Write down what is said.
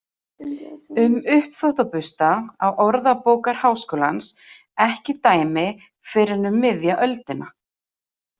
Um uppþvottabursta á Orðabókar Háskólans ekki dæmi fyrr en um miðja öldina.